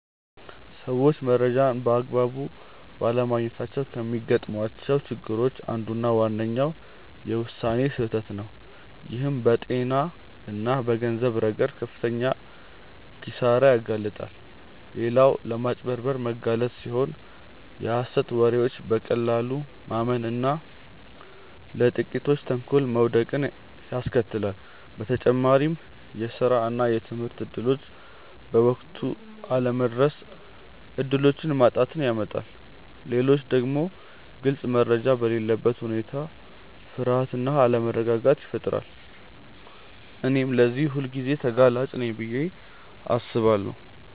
ሰዎች መረጃን በአግባቡ ባለማግኘታቸው ከሚገጥሟቸው ችግሮች አንዱና ዋነኛው የውሳኔ ስህተት ነው፣ ይህም በጤና እና በገንዘብ ረገድ ለከፍተኛ ኪሳራ ያጋልጣል። ሌላው ለማጭበርበር መጋለጥ ሲሆን የሀሰት ወሬዎችን በቀላሉ ማመን እና ለጥቂቶች ተንኮል መውደቅን ያስከትላል። በተጨማሪም የስራ እና የትምህርት እድሎች በወቅቱ አለመድረስ እድሎችን ማጣትን ያመጣል። ሌላው ደግሞ ግልጽ መረጃ በሌለበት ሁኔታ ፍርሃት እና አለመረጋጋት ይፈጠራል። እኔም ለዚህ ሁልጊዜ ተጋላጭ ነኝ ብዬ አስባለሁ።